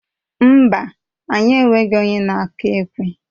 Mba, anyị enweghị onye na-akụ ekwe.